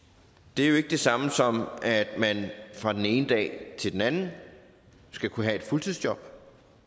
det er jo ikke det samme som at man fra den ene dag til den anden skal kunne have et fuldtidsjob